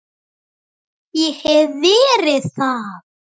Ég hef verið þar.